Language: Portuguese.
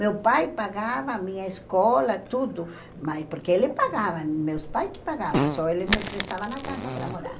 Meu pai pagava, minha escola, tudo, mas porque ele pagava, meus pais que pagavam, só eles me prestavam na casa para morar.